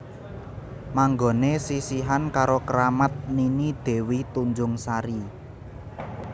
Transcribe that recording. Manggoné sisihan karo keramat Nini Dewi Tunjung Sari